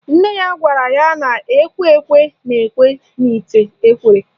Nne ya gwara ya na ekwe ekwe na-ekwe n'ite ekwere